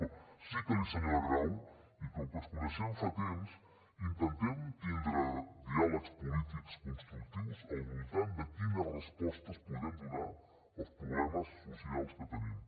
però sí que senyora grau i com que ens coneixem fa temps intentem tindre diàlegs polítics constructius al voltant de quines respostes podem donar als problemes socials que tenim